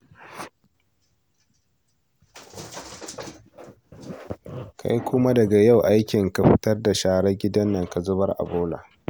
Kai kuma daga yau aikinka fitar da sharar gidan nan ka zubar a bola